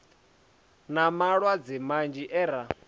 na malwadze manzhi e ra